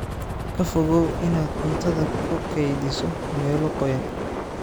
Ka fogow inaad cuntada ku kaydiso meelo qoyan.